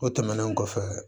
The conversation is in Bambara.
O tɛmɛnen kɔfɛ